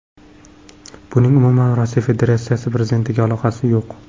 Buning umuman Rossiya Federatsiyasi prezidentiga aloqasi yo‘q.